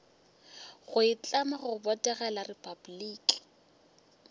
go itlama go botegela repabliki